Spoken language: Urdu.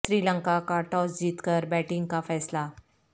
سری لنکا کا ٹاس جیت کر بیٹنگ کا فیصلہ